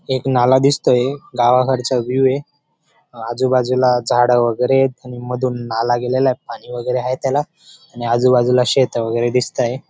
एक नाला दिसतोय गावाकडचा व्यूव्ह आहे आजूबाजूला झाड वगैरे येत आणि मधून नाला गेलेला आहे. पाणी वगैरे आहे त्याला आणि आजूबाजूला शेतं वगैरे दिसताय.